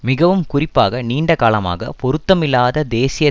மிகவும் குறிப்பாக நீண்ட காலமாக பொருத்தமில்லாத தேசிய